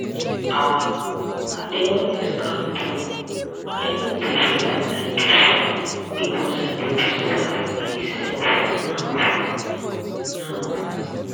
ah i dey always calm down i no dey react like before because i dey observe my self now. now.